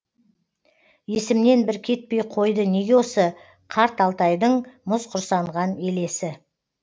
есімнен бір кетпей қойды неге осы қарт алтайдың мұз құрсанған елесі